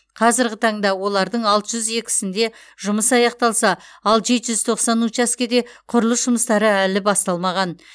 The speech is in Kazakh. қазірғі таңда олардың алты жүз екісінде жұмыс аяқталса ал жеті жүз тоқсан учаскеде құрылыс жұмыстары әлі басталмаған